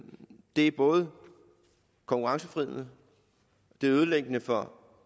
det er både konkurrenceforvridende det er ødelæggende for